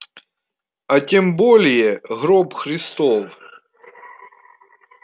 а тем более гроб христов